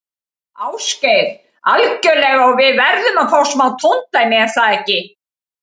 Ásgeir: Algjörlega og við verðum að fá smá tóndæmi, er það ekki?